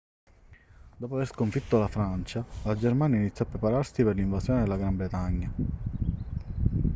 dopo aver sconfitto la francia la germania iniziò a prepararsi per l'invasione della gran bretagna